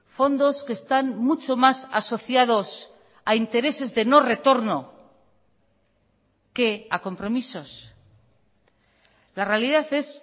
fondos que están mucho más asociados a intereses de no retorno que a compromisos la realidad es